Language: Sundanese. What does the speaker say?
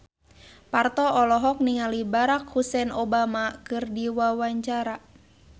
Parto olohok ningali Barack Hussein Obama keur diwawancara